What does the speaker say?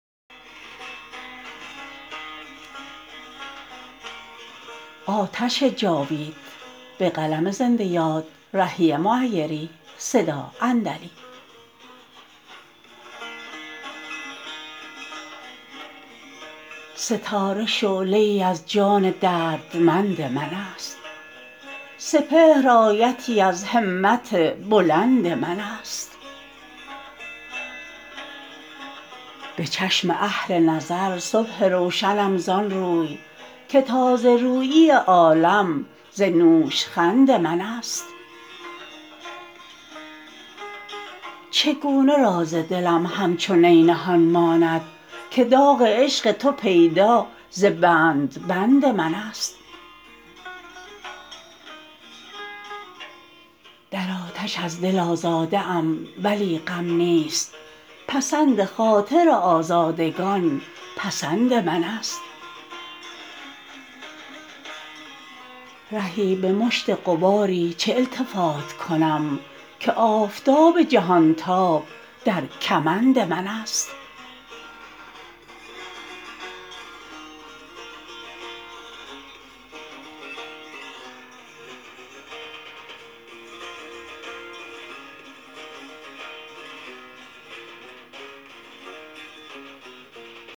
ستاره شعله ای از جان دردمند من است سپهر آیتی از همت بلند من است به چشم اهل نظر صبح روشنم زآن روی که تازه رویی عالم ز نوشخند من است چگونه راز دلم همچو نی نهان ماند که داغ عشق تو پیدا ز بند بند من است در آتش از دل آزاده ام ولی غم نیست پسند خاطر آزادگان پسند من است رهی به مشت غباری چه التفات کنم که آفتاب جهان تاب در کمند من است